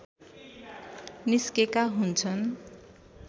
निस्केका हुन्छन्